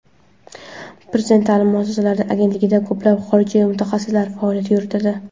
Prezident ta’lim muassasalari agentligida ko‘plab xorijiy mutaxassislar faoliyat yuritadi.